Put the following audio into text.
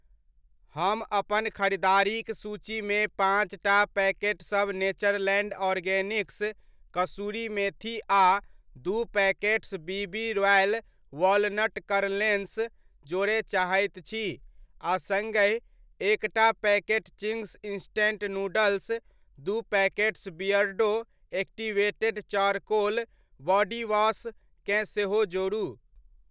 हम अपन ख़रीदारीक सूचीमे पाँचटा पैकेटसभ नेचरलैंड ऑर्गेनिक्स कसूरी मेथी आ दू packets B B Royal walnut kernels जोड़य चाहैत छी आ सङ्गहि, एकटा पैकेट चिंग्स इंसटेंट नूडल्स, दू packets Beardo activated charcoal body wash केँ सेहो जोड़ू।